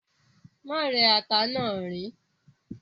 Má rẹ́ ata náà, riín.